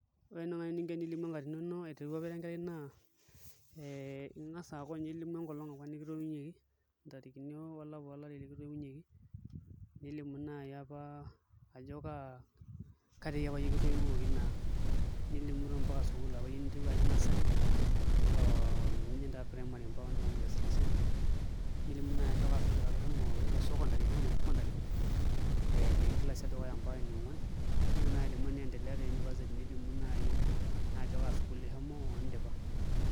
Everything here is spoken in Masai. Ore eninko tenilimu enkatini ino aiteru apa ira enkerai naa ee ing'as aaku ailimu enkolong' apa nikitoiunyieki, ntarikini olapa olari apa likitoiunyieki nilimu naai apa ketiaiapa iyie kitoiuoki naa nilimu toi mpaka sukuul apa ninterua ajing' nursery oo nijing' taa primary oondipa nkilasini isiet nilimu naa ajo kaa sukuul apa ishomo secondary tenishomo secondary ee tenkilasi edukuya mpaka eniong'uan nintoki naai alimu teniendelea te [cs[university nilimu nai naa ajo kaa sukuul ishomo oondipa.